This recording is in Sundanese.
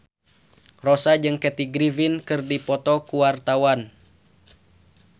Rossa jeung Kathy Griffin keur dipoto ku wartawan